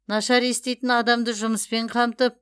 нашар еститін адамды жұмыспен қамтып